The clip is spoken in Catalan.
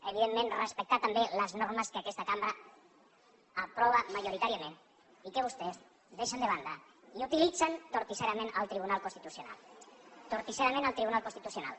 evidentment respectar també les normes que aquesta cambra aprova majoritàriament i que vostès deixen de banda i utilitzen torticerament el tribunal constitucional torticerament el tribunal constitucional